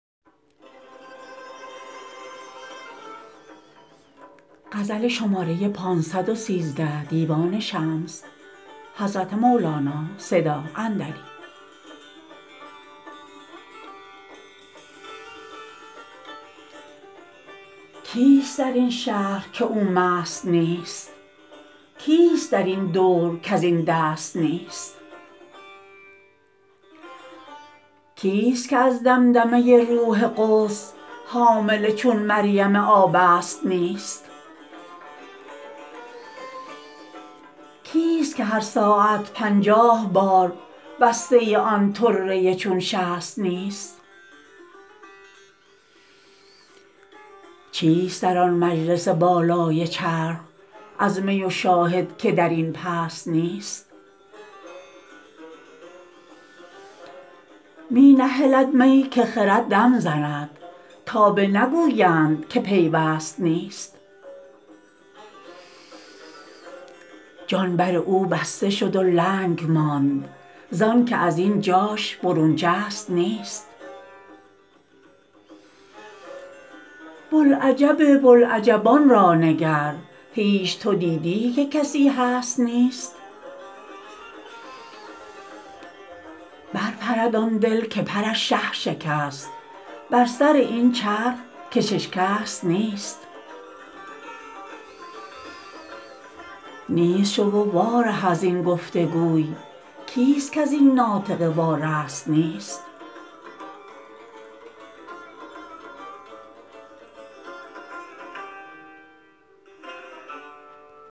کیست در این شهر که او مست نیست کیست در این دور کز این دست نیست کیست که از دمدمه روح قدس حامله چون مریم آبست نیست کیست که هر ساعت پنجاه بار بسته آن طره چون شست نیست چیست در آن مجلس بالای چرخ از می و شاهد که در این پست نیست می نهلد می که خرد دم زند تا بنگویند که پیوست نیست جان بر او بسته شد و لنگ ماند زانک از این جاش برون جست نیست بوالعجب بوالعجبان را نگر هیچ تو دیدی که کسی هست نیست برپرد آن دل که پرش شه شکست بر سر این چرخ کش اشکست نیست نیست شو و واره از این گفت و گوی کیست کز این ناطقه وارست نیست